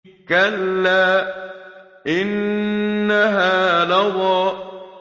كَلَّا ۖ إِنَّهَا لَظَىٰ